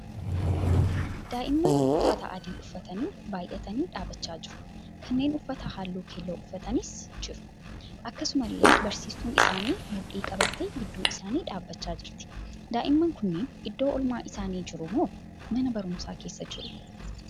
Daa'imman uffata adii uffatanii baayyatanii dhaabachaa jiru; kanneen uffata halluu keelloo uffatanis jiru. Akkasummallee barsiistuun isaanii mudhii qabattee gidduu isaanii dhaabbachaa jirti. Daa'imman kunniin iddoo oolmaa isaanii jiru moo mana barumsaa keessa jiruu?